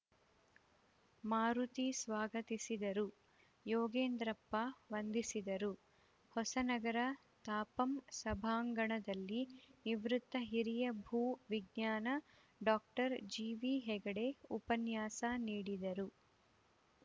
ಮಾರುತಿ ಸ್ವಾಗತಿಸಿದರು ಯೋಗೇಂದ್ರಪ್ಪ ವಂದಿಸಿದರು ಹೊಸನಗರ ತಾಪಂ ಸಭಾಂಗಣದಲ್ಲಿ ನಿವೃತ್ತ ಹಿರಿಯ ಭೂ ವಿಜ್ಞಾನಿ ಡಾಕ್ಟರ್ ಜಿವಿಹೆಗಡೆ ಉಪನ್ಯಾಸ ನೀಡಿದರು